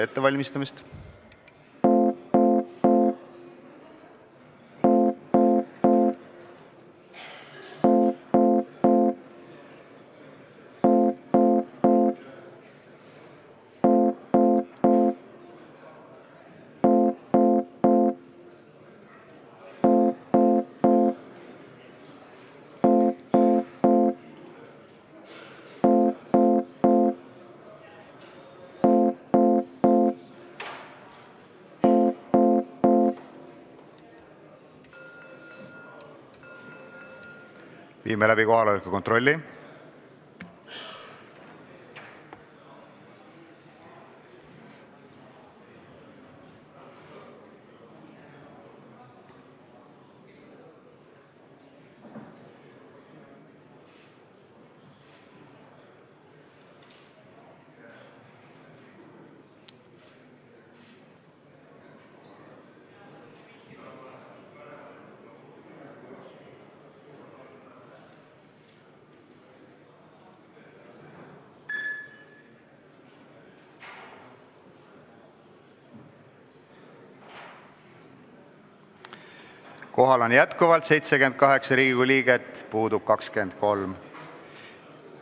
Kohaloleku kontroll Kohal on 78 Riigikogu liiget, puudub 23.